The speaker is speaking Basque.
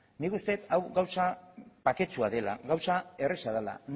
nik uste dut hau gauza baketsua dela gauza erreza dela